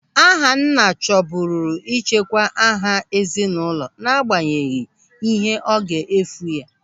Ahanna chọburu ịchekwa aha ezinụlọ n'agbanyeghị ihe ọ ga-efu ya.